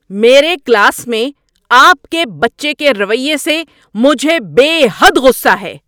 میرے کلاس میں آپ کے بچے کے رویے سے مجھے بے حد غصہ ہے!